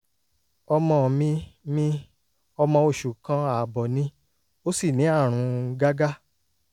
ọmọ mi mi ọmọ oṣù kan ààbọ̀ ni ó sì ní àrùn gágá